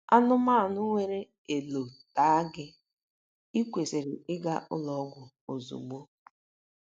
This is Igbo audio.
Anụmanụ nwere elò taa gị, i kwesịrị ịga ụlọ ọgwụ ozugbo.